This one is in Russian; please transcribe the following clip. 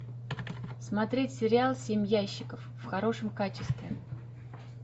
смотреть сериал семь ящиков в хорошем качестве